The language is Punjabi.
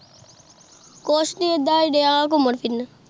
ਕੁਜ ਨੀ ਏਦਾਂ ਡੀਨ ਘੁੰਮਣ ਫਿਰਾਂ